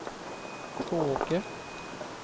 Tvååker